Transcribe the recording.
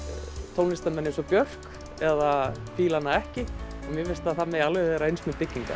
tónlistarmenn eins og Björk eða fílar hana ekki mér finnst að það megi alveg vera eins með byggingar